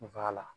la